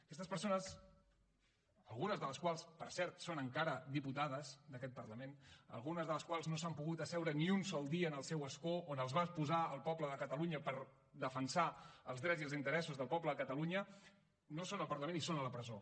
aquestes persones algunes de les quals per cert són encara diputades d’aquest parlament algunes de les quals no s’han pogut asseure ni un sol dia en el seu escó on els va posar el poble de catalunya per defensar els drets i els interessos del poble de catalunya no són al parlament i són a la presó